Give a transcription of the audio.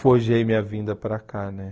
Forjei minha vinda para cá, né?